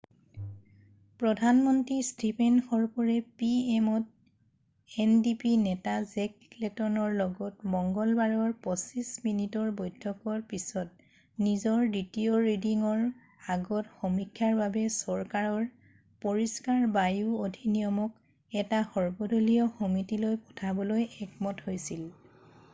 "প্ৰধানমন্ত্ৰী ষ্টিফেন হৰ্পৰে P M অ'ত এনডিপি নেতা জেক লেটনৰ লগত মংগলবাৰৰ 25 মিনিটৰ বৈঠকৰ পিছত নিজৰ দ্বিতীয় ৰিডিঙৰ আগত সমীক্ষাৰ বাবে চৰকাৰৰ "পৰিষ্কাৰ বায়ু অধিনিয়ম""ক এটা সৰ্বদলীয় সমিতিলৈ পঠাবলৈ একমত হৈছিল।""